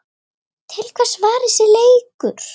Til hvers var þessi leikur?